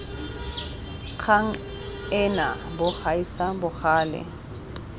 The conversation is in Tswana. kgang ena bo gaisa bogale